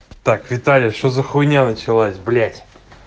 так виталя что за хуйня началась блять